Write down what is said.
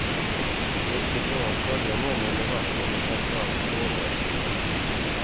Det är också bra att skölja munnen med vatten och framförallt fluorlösning.